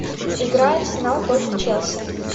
игра арсенал против челси